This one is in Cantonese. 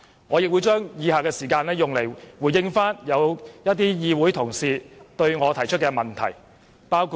我會利用以下時間回應某些議會同事向我提出的問題。